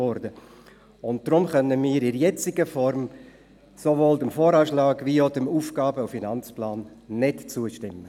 Deshalb können wir sowohl dem VA als auch dem AFP in der jetzigen Form nicht zustimmen.